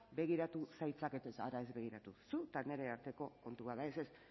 begiratu zaitzakete hara ez begiratu zu eta nire arteko kontua da ez ez